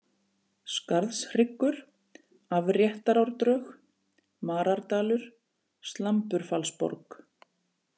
Skarðhryggur, Afréttarárdrög, Marardalur, Slamburfallsborg